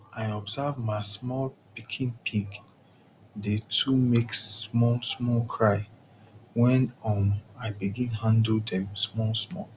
i observe ma small pikin pig dey too make small small cry wen um i begin handle dem small small